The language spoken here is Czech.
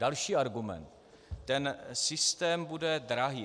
Další argument: Ten systém bude drahý.